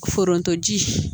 Forontoji